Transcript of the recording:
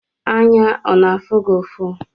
Anya ọ na-afụ gị ụfụ?